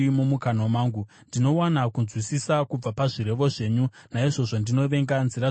Ndinowana kunzwisisa kubva pazvirevo zvenyu; naizvozvo ndinovenga nzira dzose dzakaipa.